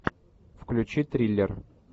включи триллер